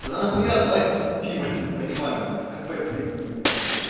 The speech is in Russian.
тогда нахуя звать пить пиво я не понимаю блядь в кафе пойди не знаю